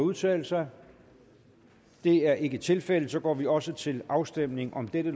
at udtale sig det er ikke tilfældet og så går vi også til afstemning om dette